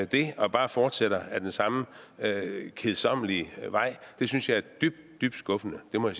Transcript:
det og bare fortsætter ad den samme kedsommelige vej synes jeg er dybt dybt skuffende det må